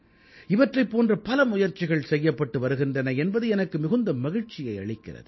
இவற்றைப் போன்ற பல முயற்சிகள் செய்யப்பட்டு வருகின்றன என்பது எனக்கு மிகுந்த மகிழ்ச்சியை அளிக்கிறது